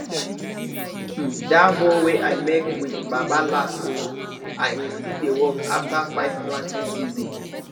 hmm that hoe wey i make wit baba last oh and e still dey work after 5 planting season